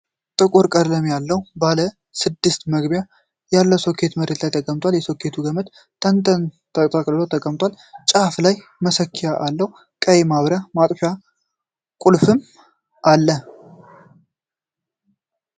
ጥቁር ቀለም ያለው ባለ ስድስት መግቢያ ይለው ሶኬት መሬት ላይ ተቀምጧል። የሶኬቱ ገመድ ተጠቅልሎ ተቀምጧል፤ ጫፉ ላይ መሰኪያ አለው፤ ቀይ የማብሪያ/ማጥፊያ ቁልፍም አለ።